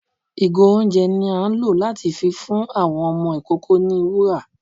igo oúnjẹ ni a ń lo latí fí fún awọn ọmọ ikoko ní wùrà